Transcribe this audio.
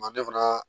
Manden fana